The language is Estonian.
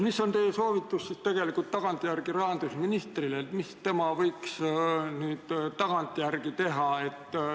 Mis on teie tagantjärele soovitus rahandusministrile, mis tema võiks nüüd teha?